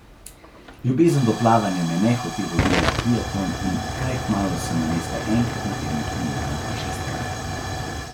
Ljubezen do plavanja me je nehote vodila v triatlon in kaj kmalu sem namesto enkrat na teden trenirala šestkrat.